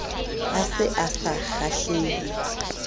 a se a sa kgahlehe